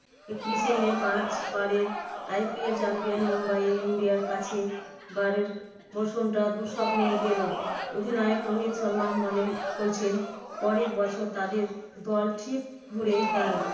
একত্রিশে মেয়ে পাঁচ বারের IPL champion মুম্বাই ইন্ডিয়ান্স এর কাছে বারের মরসুমটা দুঃসপ্নের গেলেও, অধিনায়ক রোহিত শর্মা মনে করছেন পরের বছর তাদের দল ঠিক ঘুরে দাঁড়াবে।